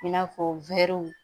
I n'a fɔ wɛriw